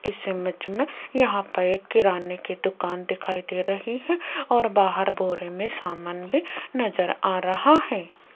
इस इमेज में यहां पे एक किराने की दुकान दिखाई दे रही है और बाहर बोरे मे सामान भी नजर आ रहा है।